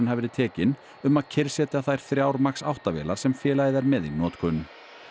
hafi verið tekin um að kyrrsetja þær þrjár Max átta vélar sem félagið er með í notkun